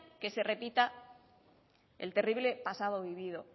que se repita el terrible pasado vivido